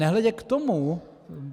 Nehledě k tomu...